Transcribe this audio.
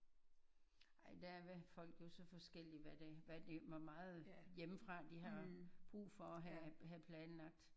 Ej der er folk jo så forskellige hvad de hvad de hvor meget hjemmefra de har brug for at have have planlagt